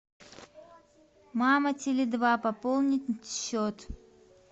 мама теле два пополнить счет